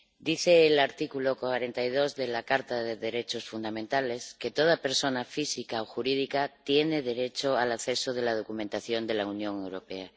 Dice el artículo 42 de la Carta de los Derechos Fundamentales que toda persona física o jurídica tiene derecho al acceso a la documentación de la Unión Europea.